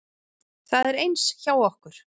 Það er eins hjá okkur.